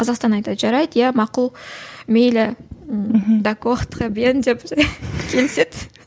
қазақстан айтады жарайды иә мақұл мейлі мхм деп келіседі